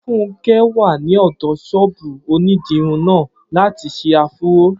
Funke wà ní ọ̀dọ̀ ṣọ́ọ̀bù onídìrí náà láti ṣe áfúró